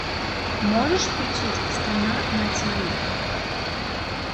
можешь включить страна на тиви